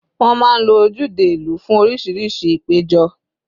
Wọ́n máa ń lo ojúde ìlú fún oríṣiríṣi ìpéjọ.